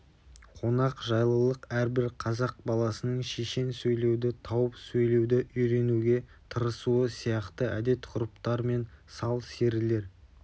қонақжайлық әрбір қазақ баласының шешен сөйлеуді тауып сөйлеуді үйренуге тырысуы сияқты әдетғұрыптар мен сал-серілер